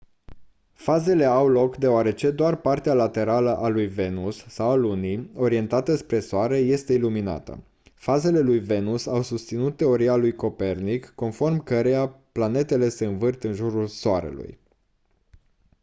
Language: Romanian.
fazele au loc deoarece doar partea laterală a lui venus sau a lunii orientată spre soare este iluminată. fazele lui venus au susținut teoria lui copernic conform căreia planetele se învârt în jurul soarelui